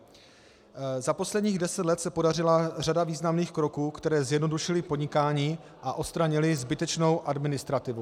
Za posledních deset let se podařila řada významných kroků, které zjednodušily podnikání a odstranily zbytečnou administrativu.